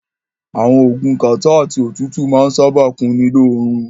Àwọn oògùn kàtá àti òtútù máa ń sábáà kunni lóorun.